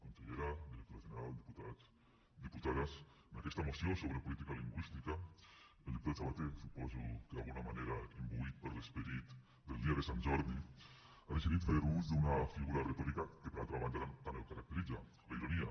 consellera directora general diputats diputades en aquesta moció sobre política lingüística el diputat sabaté suposo que d’alguna manera imbuït per l’esperit del dia de sant jordi ha decidit fer ús d’una figura retòrica que per altra banda tant el caracteritza la ironia